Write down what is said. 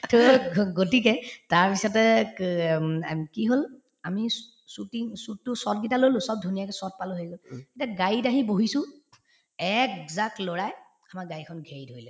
to গ‍ গতিকে তাৰপিছতে ক উম আম্ কি হল আমি shoo shooting shoot তোৰ কেইটা লৈ ললো ধুনীয়াকে পালো এতিয়া গাড়ীত আহি বহিছো একজাক লৰাই আমাৰ গাড়ীখন ঘেৰি ধৰিলে